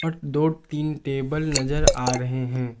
दो तीन टेबल नजर आ रहे हैं।